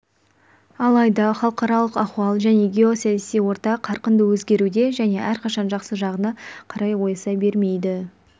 алайда халықаралық ахуал және геосаяси орта қарқынды өзгеруде және әрқашан жақсы жағына қарай ойыса бермейді